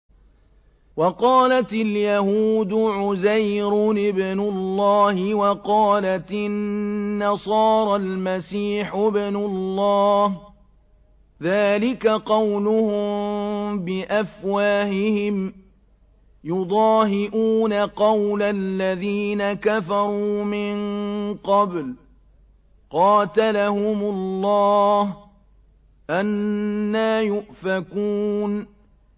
وَقَالَتِ الْيَهُودُ عُزَيْرٌ ابْنُ اللَّهِ وَقَالَتِ النَّصَارَى الْمَسِيحُ ابْنُ اللَّهِ ۖ ذَٰلِكَ قَوْلُهُم بِأَفْوَاهِهِمْ ۖ يُضَاهِئُونَ قَوْلَ الَّذِينَ كَفَرُوا مِن قَبْلُ ۚ قَاتَلَهُمُ اللَّهُ ۚ أَنَّىٰ يُؤْفَكُونَ